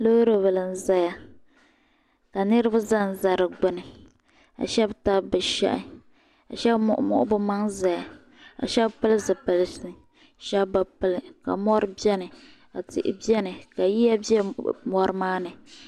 Loori bili n zaya ka niriba zan za di gbuni ka shɛb tabi bi shɛhi ka shɛb muɣi muɣi bi maŋ n zaya ka shɛb pili zipilisi shɛb bi pili ka mori bɛni ka tihi bɛni ka yiya bɛ mori maa ni.